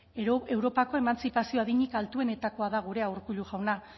europako emantzipazio adinik altuenetakoa da gurea urkullu jauna